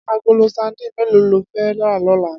Agóló sàdín méló ló fè rà lòlá?